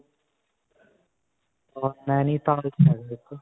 naintal .